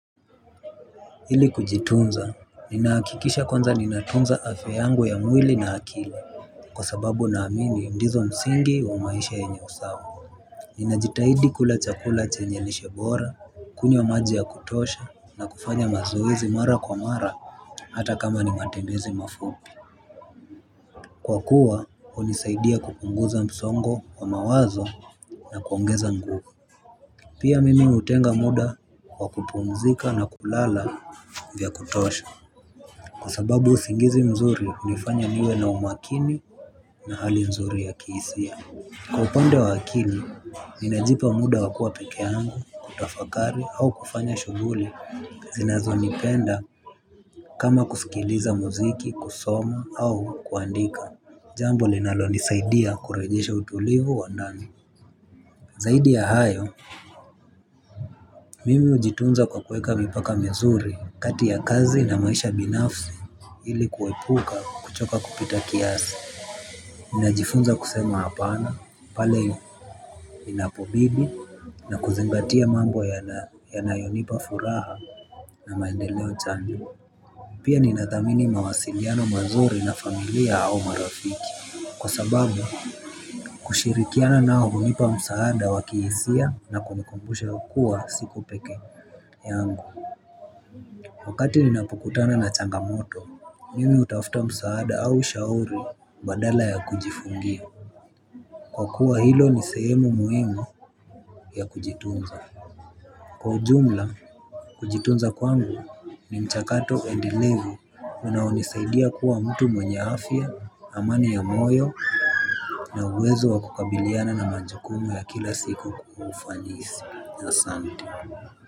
Ili kujitunza ninahakikisha kwanza ninatunza afya yangu ya mwili na akili. Kwa sababu naamini ndizo msingi wa maisha yenye usawa. Ninajitahidi kula chakula chenye lishe bora, kunywa maji ya kutosha, na kufanya mazoezi mara kwa mara. Hata kama ni matembezi mafupi kwa kuwa, hunisaidia kupunguza msongo wa mawazo na kuongeza nguvu. Pia mimi hutenga muda kwa kupumzika na kulala vya kutosha. Kwa sababu usingizi mzuri hunifanya niwe na umakini na hali mzuri ya kihisia. Kwa upande wa akili, ninajipa muda wa kuwa pekee yangu, kutafakari au kufanya shughuli zinazonipenda kama kusikiliza muziki, kusoma au kuandika. Jambo linalonisaidia kurejesha utulivu wa ndani. Zaidi ya hayo, mimi hujitunza kwa kueka mipaka mizuri kati ya kazi na maisha binafsi. Ili kuepuka kuchoka kupita kiasi ninajifunza kusema hapana pale inapobidi na kuzingatia mambo yanayonipa furaha na maendeleo chanya. Pia ninathamini mawasiliano mazuri na familia au marafiki. Kwa sababu kushirikiana nao hunipa msaada wa kihisia na kunikumbusha kuwa siko pekee yangu wakati ninapokutana na changamoto mimi hutafuta msaada au shauri badala ya kujifungia kwa kuwa hilo ni sehemu muhimu ya kujitunza kwa ujumla kujitunza kwangu ni mchakato endelevu unaonisaidia kuwa mtu mwenye afya amani ya moyo na uwezo wa kukabiliana na majukumu ya kila siku kwa ufanisi asante.